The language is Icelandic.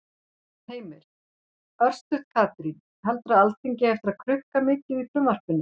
Heimir: Örstutt Katrín, heldurðu að Alþingi eigi eftir að krukka mikið í frumvarpinu?